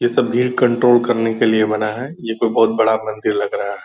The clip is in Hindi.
ये सब भीड़ कंट्रोल करने के लिए बना है ये कोई बहुत बड़ा मंदिर लग रहा है ।